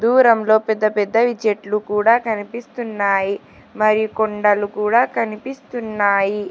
దూరంలో పెద్ద పెద్దవి చెట్లు కూడా కనిపిస్తున్నాయి మరియు కొండలు కూడా కనిపిస్తున్నాయి.